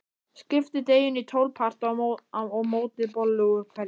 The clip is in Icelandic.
Skiptið deiginu í tólf parta og mótið bollu úr hverjum.